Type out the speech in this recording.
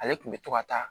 Ale tun bɛ to ka taa